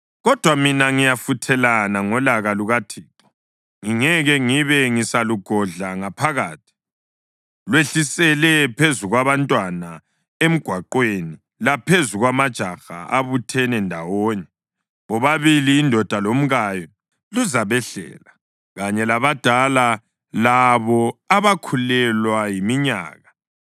Kodwa mina ngiyafuthelana ngolaka lukaThixo, ngingeke ngibe ngisalugodla ngaphakathi. “Lwehlisele phezu kwabantwana emgwaqweni laphezu kwamajaha abuthene ndawonye, bobabili indoda lomkayo luzabehlela, kanye labadala, labo abakhulelwa yiminyaka.